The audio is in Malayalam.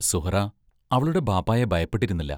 സുഹ്റാ അവളുടെ ബാപ്പായെ ഭയപ്പെട്ടിരുന്നില്ല.